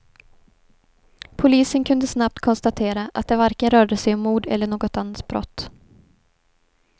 Polisen kunde snabbt konstatera att det varken rörde sig om mord eller något annat brott.